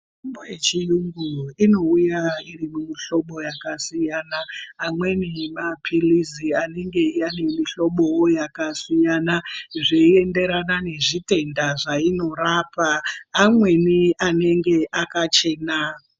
Mitombo yechirungu inouya iri mumuhlobo wakasiyana amweni nemapirizi yanenge nemihlobo yakasiyana zveiennderana nezvitenda zvinorapa amweni anenge akachena.